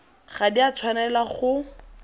ga di a tshwanela go